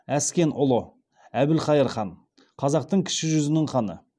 әскен ұлы әбілқайыр хан қазақтың кіші жүзінің ханы